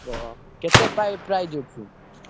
ଓହୋ! କେତେ ପା~ price ଅଛି?